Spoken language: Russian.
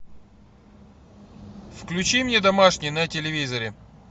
включи мне домашний на телевизоре